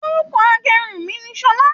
Orúkọ agérun mí ní Ṣọlá.